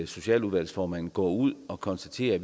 socialudvalgsformanden går ud og konstaterer at